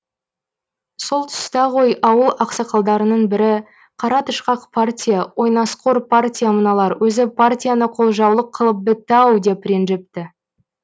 сол тұста ғой ауыл ақсақалдарының бірі қара тышқақ партия ойнасқор партия мыналар өзі партияны қолжаулық қылып бітті ау деп ренжіпті